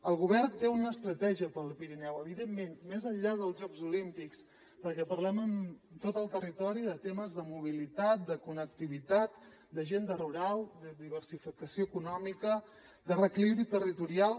el govern té una estratègia per al pirineu evidentment més enllà dels jocs olímpics perquè parlem amb tot el territori de temes de mobilitat de connectivitat d’agenda rural de diversificació econòmica de reequilibri territorial